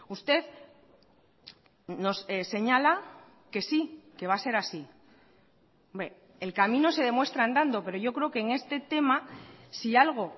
usted nos señala que sí que va a ser así el camino se demuestra andando pero yo creo que en este tema si algo